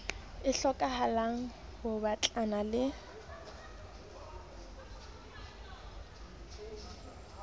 e hlokahalang ho batlana le